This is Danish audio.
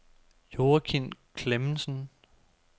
Joakim Clemensen